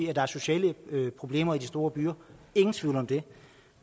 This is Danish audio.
at der er sociale problemer i de store byer ingen tvivl om det